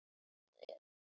Hún lifði til fulls.